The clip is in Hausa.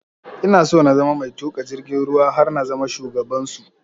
Ina so na zama mai tuƙa jirgin ruwa har na zama shugaban su